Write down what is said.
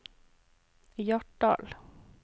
Hjartdal